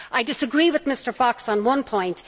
I disagree with Mr Fox on one point